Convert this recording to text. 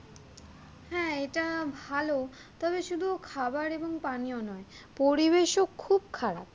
হ্যাঁ এটা ভাল তবে শুধু খাবার এবং পানিও নয় পরিবেশও খুব খারাপ